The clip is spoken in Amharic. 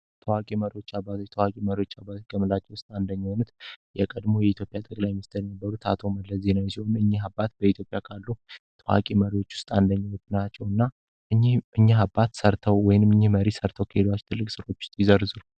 ታዋቂ መሪዎች አባዞች ከምንላቸው ውስጥ አንደኛ የሆኑት የቀድሞው የኢትዮጵያ ጠቅላይ ሚኒስተር አቶ መለስ ዜናዊ ሲሆኑ እኛ አባት በኢትዮጲያ ካሉ ታዋቂ መሪዎች አንደኛው ናቸው። እና እኚህ አባት ወይም መሪዎች ሰርቶ ከሄዱ ስራዎች ውስጥ ይዘርዝሩይዘርዝሩ።